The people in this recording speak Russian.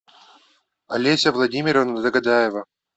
олеся владимировна догадаева